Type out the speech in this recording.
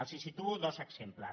els en situo dos exemples